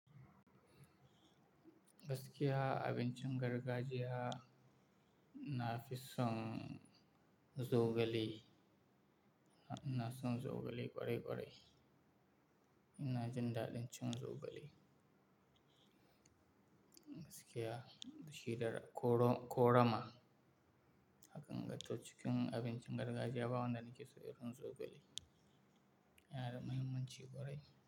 Gaskiya abincin gargajiya na fi son zogale, ina son zogale kwarai kwarai. Ina jin daɗin ci zogale. Gaskiya shida ko rama aka gan ta cikin abincin gargajiya ba wanda nake so irin zogale. Yana da mahimmanci kwarai.